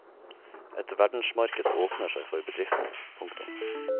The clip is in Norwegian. Et verdensmarked åpner seg for bedriften. punktum